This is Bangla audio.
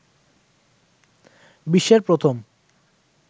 বিশ্বের প্রথম